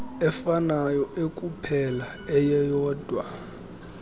efanayo ekuphela eyeyodwa